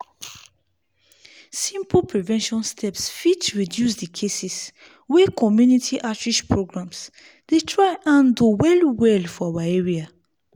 simple prevention steps fit reduce the cases wey community outreach programs dey try handle well well for our area.